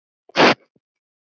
Nema hvað!?!